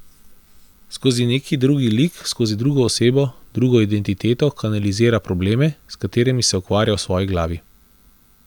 Skozi neki drug lik, skozi drugo osebo, drugo identiteto kanalizira probleme, s katerimi se ukvarja v svoji glavi.